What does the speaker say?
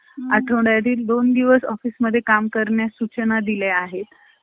आठवाड्यातील दोन दिवस office मध्ये काम करण्यास सूचना दिलेल्या आहेत .